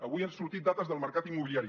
avui han sortit dades del mercat immobiliari